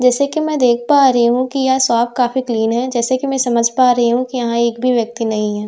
जैसे कि मैं देख पा रही हूं कि यह साॅफ काफी क्लीन है जैसा कि मैं समझ पा रही हूं कि यहां एक भी व्यक्ति नहीं है।